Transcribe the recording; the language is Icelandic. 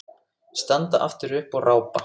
Standa aftur upp og rápa.